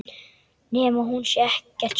Nema hún sé ekkert svöng.